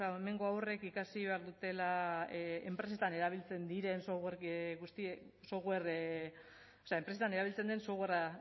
hemengo haurrek ikasi behar dutela enpresetan erabiltzen den softwarea